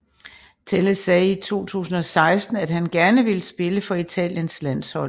Telles sagde i 2016 at han gerne ville spille for Italiens landshold